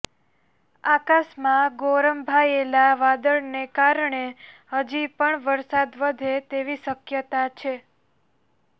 આકાશમાં ગોરંભાયેલા વાદળાને કારણ હજી પણ વરસાદ વધે તેવી શક્યતા છે